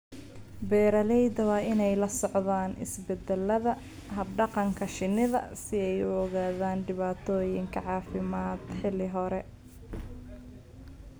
Beeralayda waa in ay la socdaan isbeddelada hab-dhaqanka shinnida si ay u ogaadaan dhibaatooyinka caafimaad xilli hore.